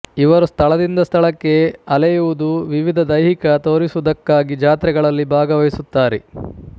ಇವರು ಸ್ಥಳದಿಂದ ಸ್ಥಳಕ್ಕೆ ಅಲೆಯುವುದು ವಿವಿಧ ದೈಹಿಕ ತೋರಿಸುವುದಕ್ಕಾಗಿ ಜಾತ್ರೆಗಳಲ್ಲಿ ಭಾಗವಹಿಸುತ್ತಾರೆ